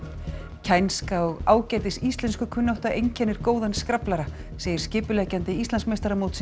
kænska og ágætis íslenskukunnátta einkennir góðan segir skipuleggjandi Íslandsmeistaramótsins